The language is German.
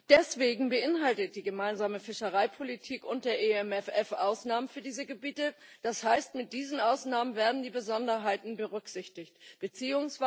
Deswegen beinhaltet die Gemeinsame Fischereipolitik und der EMFF Ausnahmen für diese Gebiete, das heißt, mit diesen Ausnahmen werden die Besonderheiten berücksichtigt bzw.